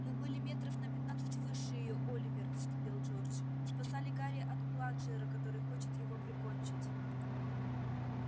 мы были метров на пятнадцать выше её оливер вскипел джордж спасали гарри от бладжера который хочет его прикончить